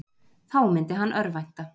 Þá myndi hann örvænta.